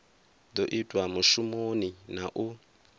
do itwa mushumoni na u